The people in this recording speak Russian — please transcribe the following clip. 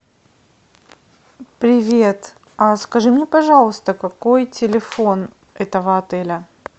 привет скажи мне пожалуйста какой телефон этого отеля